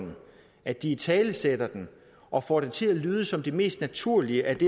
at de italesætter det og får det til at lyde som det mest naturlige at